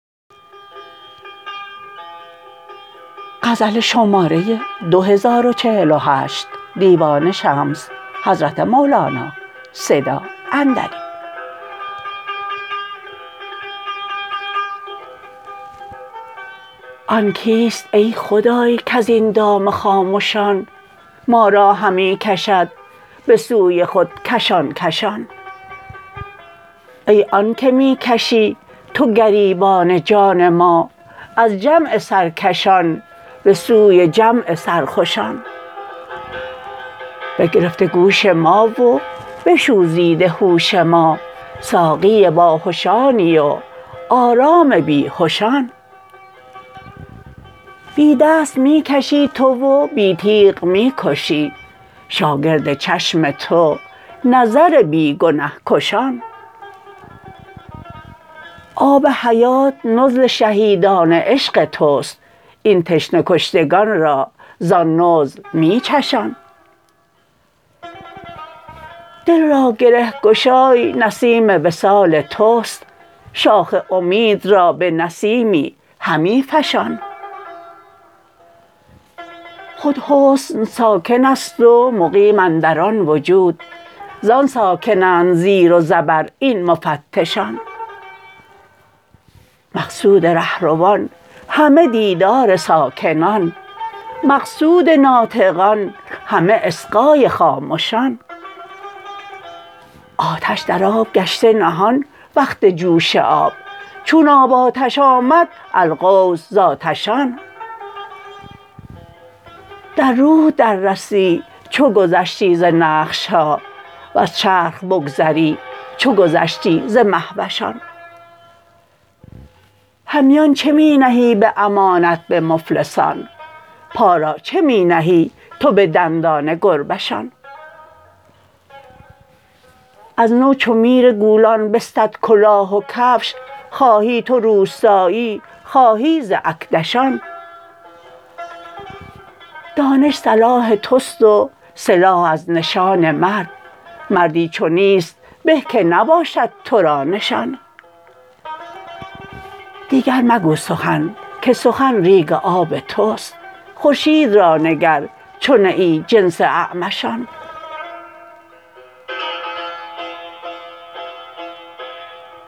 آن کیست ای خدای که از این دام خامشان ما را همی کشد به سوی خود کشان کشان ای آن که می کشی تو گریبان جان ما از جمع سرکشان به سوی جمع سرخوشان بگرفته گوش ما و بشوریده هوش ما ساقی باهشانی و آرام بی هشان بی دست می کشی تو و بی تیغ می کشی شاگرد چشم تو نظر بی گنه کشان آب حیات نزل شهیدان عشق تو ست این تشنه کشتگان را ز آن نزل می چشان دل را گره گشای نسیم وصال توست شاخ امید را به نسیمی همی فشان خود حسن ساکن است و مقیم اندر آن وجود زآن ساکن اند زیر و زبر این مفتشان مقصود ره روان همه دیدار ساکنان مقصود ناطقان همه اصغای خامشان آتش در آب گشته نهان وقت جوش آب چون آب آتش آمد الغوث ز آتشان در روح دررسی چو گذشتی ز نقش ها وز چرخ بگذری چو گذشتی ز مهوشان همیان چه می نهی به امانت به مفلسان پا را چه می نهی تو به دندان گربه شان از تو چو میر گولان بستد کلاه و کفش خواهی تو روسیاهی خواهی ز اکدشان دانش سلاح تو ست و سلاح از نشان مرد مردی چو نیست به که نباشد تو را نشان دیگر مگو سخن که سخن ریگ آب توست خورشید را نگر چو نه ای جنس اعمشان